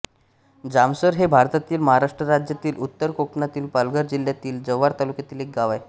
जामसर हे भारतातील महाराष्ट्र राज्यातील उत्तर कोकणातील पालघर जिल्ह्यातील जव्हार तालुक्यातील एक गाव आहे